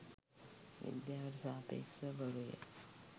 විද්‍යාවට සාපේක්ෂව බොරුය.